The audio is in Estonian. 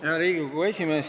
Hea Riigikogu esimees!